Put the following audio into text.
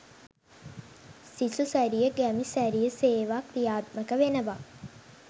සිසු සැරිය ගැමි සැරිය සේවා ක්‍රියාත්මක වෙනවා